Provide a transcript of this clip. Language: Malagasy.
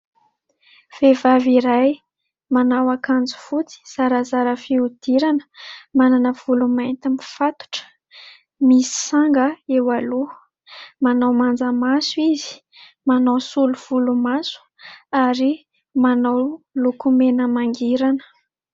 Vehivavy iray manao ankanjo fotsy, zarazara fihodirana ,manana volo mainty mifatotra, misanga eo aloha, manao manja maso izy, manao solo volomaso ary manao lokomena mangirana.